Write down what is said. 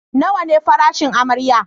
Nawa ne farashin amarya?